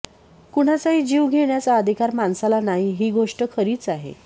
कुणाचाही जीव घेण्याचा अधिकार माणसाला नाही ही गोष्ट खरीच आहे